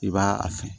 I b'a a fɛn